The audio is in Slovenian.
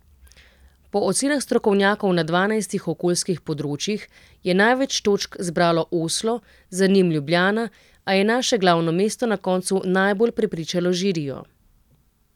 Po ocenah strokovnjakov na dvanajstih okoljskih področjih je največ točk zbralo Oslo, za njim Ljubljana, a je naše glavno mesto na koncu najbolj prepričalo žirijo.